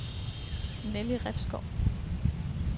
Nelly Refsgaard